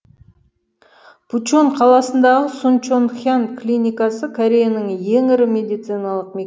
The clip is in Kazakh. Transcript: пучон қаласындағы сунчонхян клиникасы кореяның ең ірі медициналық мекемесі